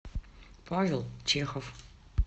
павел чехов